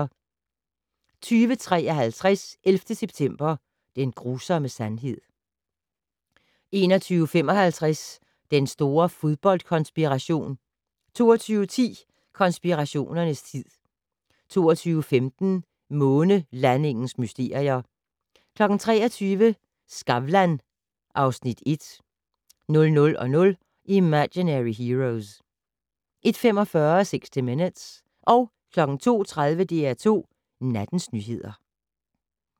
20:53: 11. september - den grusomme sandhed 21:55: Den store fodboldkonspiration 22:10: Konspirationernes tid 22:15: Månelandingens mysterier 23:00: Skavlan (Afs. 1) 00:00: Imaginary Heroes 01:45: 60 Minutes 02:30: DR2 Nattens nyheder